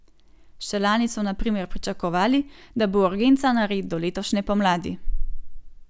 Še lani so na primer pričakovali, da bo urgenca nared do letošnje pomladi.